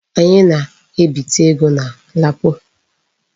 Anyị na-ebite ego na LAPO.